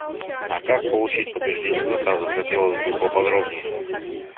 а как получить подтверждение заказа хотелось бы поподробнее